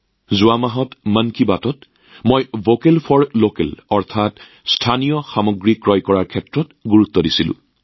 যোৱা মাহত মন কী বাতত মই ভোকেল ফৰ লোকেল অৰ্থাৎ স্থানীয় সামগ্ৰী কিনাৰ ওপৰত গুৰুত্ব দিছিলোঁ